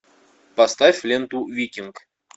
поставь ленту викинг